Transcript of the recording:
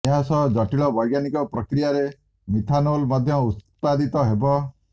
ଏହା ସହ ଜଟିଳ ବୈଜ୍ଞାନିକ ପ୍ରକ୍ରିୟାରେ ମିଥାନୋଲ ମଧ୍ୟ ଉତ୍ପାଦିତ ହେବ